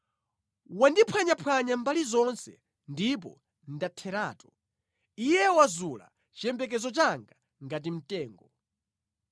Wandiphwanyaphwanya mbali zonse ndipo ndatheratu; Iye wazula chiyembekezo changa ngati mtengo.